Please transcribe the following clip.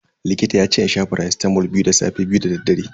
Likita yace in sha faracitamol biyu da safe, biyu dadaddare.